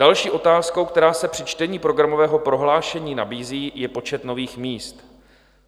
Další otázkou, která se při čtení programového prohlášení nabízí, je počet nových míst.